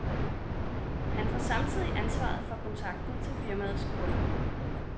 Han får samtidig ansvaret for kontakten til firmaets kunder.